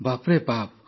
ବାପ୍ରେ ବାପ୍